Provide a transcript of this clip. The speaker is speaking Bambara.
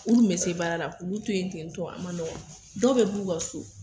U kun be se baara la k'olu to yen tentɔ a ma nɔgɔ dɔw be b'u ka so